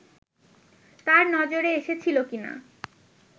তার নজরে এসেছিল কিনা